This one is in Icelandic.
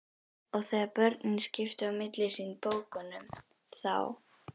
Og þegar börnin skiptu á milli sín bókunum þá